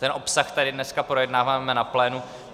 Ten obsah tady dneska projednáváme na plénu.